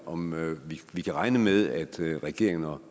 om vi kan regne med at regeringen og